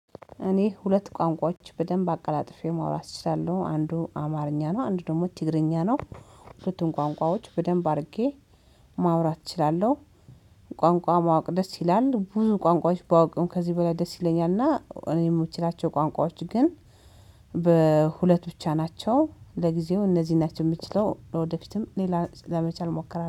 እኔ ሁለት ቋንቋዎች በደንብ አቀላጥፌ ማውራት እችላለሁ አንዱ አማርኛ ነው አንዱ ደግሞ ትግርኛ ነው ሁለቱን ቋንቋዎች በደንብ አድርጌ ማውራት እችላለሁ። ቋንቋ ማወቅ ደስ ይላል ብዙ ቋንቋዎች ባውቅም ከዚህ በላይ ደስ ይለኛልና። እኔም የምችላቸው ቋንቋዎች ግን በሁለት ብቻ ናቸው። ለጊዜው እነዚህ ናቸው የምትችለው ወደፊትም ሌላ ለመቻል እሞክራለሁ